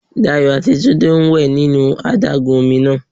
Dayò àti Túndé ń wè nínú adágún ọmi náà